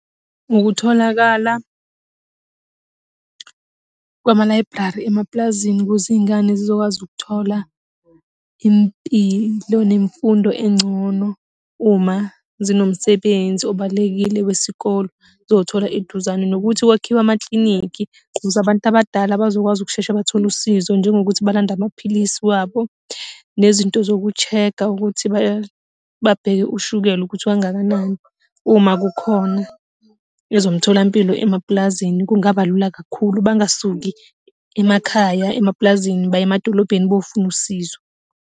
Ngokutholakala kwama-library emapulazini ukuze iy'ngane zizokwazi ukuthola impilo, nemfundo engcono, uma zinomsebenzi obalulekile wesikole zizowuthola eduzane nokuthi kwakhiwe amakliniki ukuze abantu abadala bazokwazi ukushesha bathole usizo. Njengokuthi balande amaphilisi wabo nezinto zoku-check-a ukuthi babheke ushukela ukuthi ukangakanani. Uma kukhona ezomtholampilo emapulazini kungaba lula kakhulu bangasuki emakhaya emapulazini baye emadolobheni bayofuna usizo.